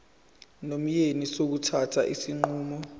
nomyeni sokuthatha isinqumo